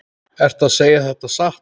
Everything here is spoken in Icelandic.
Ertu að segja þetta satt?